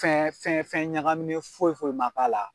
Fɛn fɛn fɛn ɲagaminɛ foyi foyi ma la.